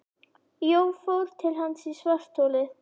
Jón fór til hans í svartholið.